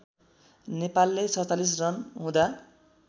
नेपालले ४७ रन हुँदा